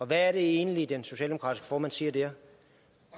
hvad er det egentlig den socialdemokratiske formand siger der